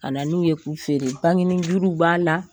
kana n'u ye k'u feere bangeni juruw b'a la.